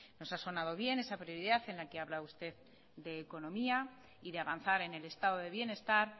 nos ha sonado bien esa prioridad en la que habla usted de economía y de avanzar en el estado de bienestar